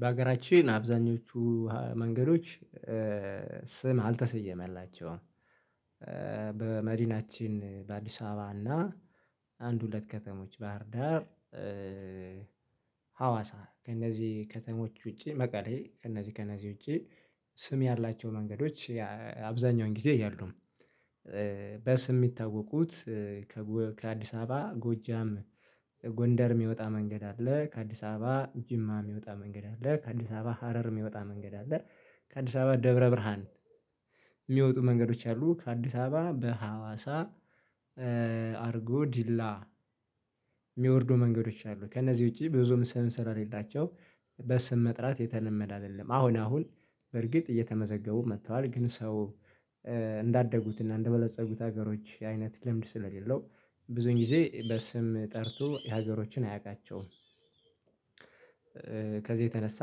በሀገራችን አብዛኞቹ መንገዶች ስም አልተሰየመላቸውም። በመዲናችን በአዲስ አበባ እና አንድ ሁለት ከተሞች ባህርዳር። ሀዋሳ ከእነዚህ ከተሞች ውጪ መቀሌ ከእነዚህ ከእነዚህ ውጪ። ስም ያላቸው መንገዶች አብዛኛውን ጊዜ ያሉም በስም የሚታወቁት። ከአዲስ አበባ ጎጃም ጎንደር የሚወጣ መንገድ አለ። ከአዲስ አበባ ጅማ የሚወጣ መንገድ አለ። ከአዲስ አበባ ሀረር የሚወጣ መንገድ አለ። ከአዲስ አበባ ደብረ ብርሃን የሚወጡ መንገዶች አሉ። ከአዲስ አበባ በሀዋሳ አርጎ ዲላ የሚወርዱ መንገዶች አሉ። ከእነዚህ ውጪ ብዙም ስራ ሌላቸው በስም መጥራት የተለመደ አይደለም። አሁን አሁን በርግጥ እየተመዘገቡ መጥተዋል ግን ሰው እንዳደጉትና እንደበለፀጉት ሀገሮች አይነት ልምድ ስለሌለው ብዙን ጊዜ በስም ጠርቶ የሀገሮችን አያቃቸውም። ከዚህ የተነሳ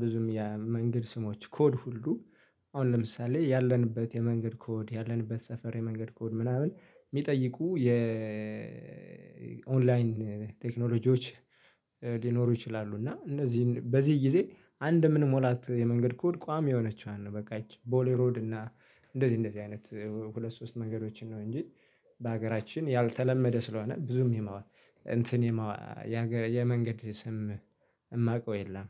ብዙም የመንገድ ስሞች ኮድ ሁሉ። አሁን ለምሳሌ ያለንበት የመንገድ ኮድ ያለንበት ሰፈሬ መንገድ ኮድ ምናምን የሚጠይቁ የኦንላይን ቴክኖሎጂዎች ሊኖሩ ይችላሉ። እና እነዚህን በዚህ ጊዜ አንድ የምንሞላት የመንገድ ኮድ ቋሚ የሆነችዋን ነው በቃች ቦሌሮድ እና እንደዚህ እንደዚህ አይነት ሁለት ሶስት መንገዶችን ነው እንጂ። በሀገራችን ያልተለመደ ስለሆነ ብዙም የማዋል እንትን የመንገድ ስም የማውቀው የለም።